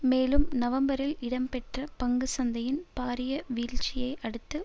மேலும் நவம்பரில் இடம் பெற்ற பங்கு சந்தையின் பாரிய வீழ்ச்சியை அடுத்து